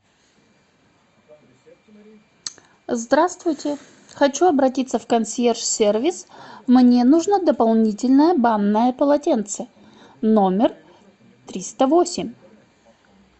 здравствуйте хочу обратиться в консьерж сервис мне нужно дополнительное банное полотенце номер триста восемь